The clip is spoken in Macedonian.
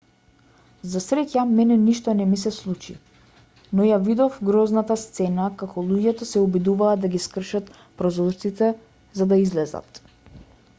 за среќа мене ништо не ми се случи но ја видов грозната сцена како луѓето се обидуваа да ги скршат прозорците за да излезат